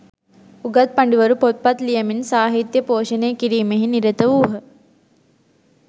උගත් පඬිවරු, පොත්පත් ලියමින් සාහිත්‍යය පෝෂණය කිරීමෙහි නිරත වූහ.